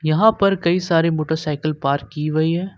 यहां पर कई सारे मोटरसाइकिल पार्क की हुई है।